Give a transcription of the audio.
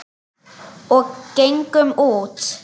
Og gengum út.